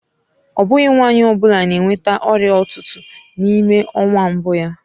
Ọ bụghị nwanyị ọ bụla na-enweta ọrịa ụtụtụ n'ime ọnwa mbụ ya.